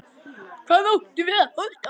Hvað áttum við að halda?